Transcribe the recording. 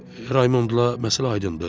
Raymondla məsələ aydındır.